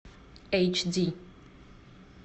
эйч ди